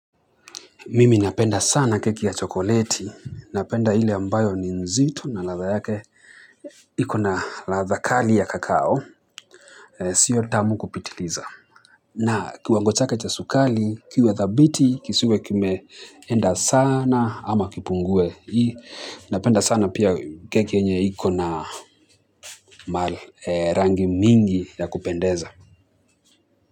Mimi napenda sana keki ya chokoleti, napenda ille ambayo ni nzito na ladha yake iko na ladha kali ya kakao, siyo tamu kupitiliza. Na kiwango chake cha sukari, kiwe dhabiti, kisiwe kimeenda sana ama kipungue hii, napenda sana pia keki yenye iko na rangi mingi ya kupendeza.